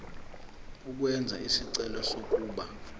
ukwenza isicelo sokuba